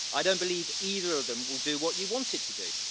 I don't believe either of them will do what you want it to do.